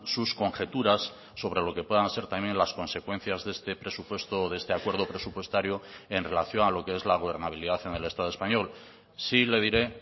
sus conjeturas sobre lo que puedan ser también las consecuencias de este presupuesto o de este acuerdo presupuestario en relación a lo que es la gobernabilidad en el estado español sí le diré